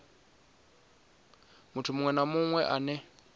muthu muṅwe na muṅwe ane